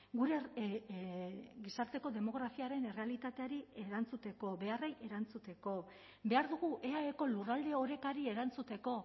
gure gizarteko demografiaren errealitateari erantzuteko beharrei erantzuteko behar dugu eaeko lurralde orekari erantzuteko